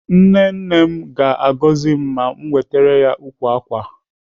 Nne nne m ga-agọzi m ma m wetere ya ukwu ákwà a.